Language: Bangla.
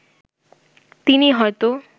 তিনি হয়তো